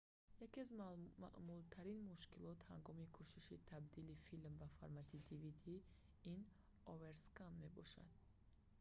яке аз маъмултарин мушкилот ҳангоми кӯшиши табдили филм ба формати dvd ин оверскан мебошад